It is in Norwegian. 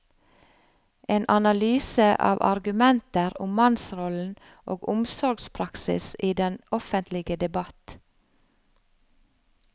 En analyse av argumenter om mannsrollen og omsorgspraksis i den offentlige debatt.